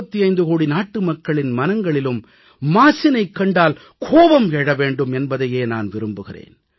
125 கோடி நாட்டுமக்களின் மனங்களிலும் மாசினைக் கண்டால் கோபம் எழ வேண்டும் என்பதையே நான் விரும்புகிறேன்